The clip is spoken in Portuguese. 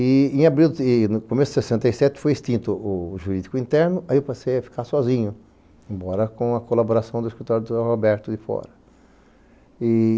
E, em abril, começo de sessenta e sete, foi extinto o jurídico interno, aí eu passei a ficar sozinho, embora com a colaboração do escritório do João Roberto de fora.